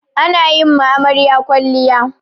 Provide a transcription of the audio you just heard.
Ana yi ma amarya kwalliya.